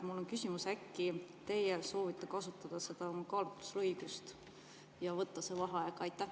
Mul on küsimus: äkki teie soovite kasutada seda kaalutlusõigust ja võtta see vaheaeg?